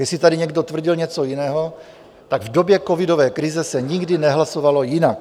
Jestli tady někdo tvrdil něco jiného, tak v době covidové krize se nikdy nehlasovalo jinak.